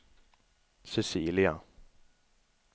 Cecilia